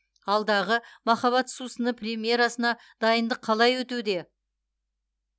алдағы махаббат сусыны премьерасына дайындық қалай өтуде